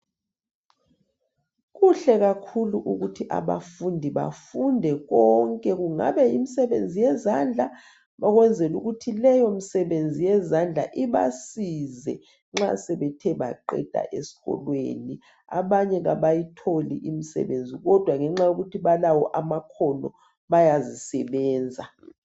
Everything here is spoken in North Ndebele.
Kuhle kakhulu ukuthi abafundi bafunde konke kungaba yimsebenzi yezandla ukwezela ukuthi leyo misebenzi yezandla ibasize nxa sebethe baqeda esikolweni abanye abayitholi imisebenzi kodwa ngenxa yokuthi balawo amakhono bayazisebenza.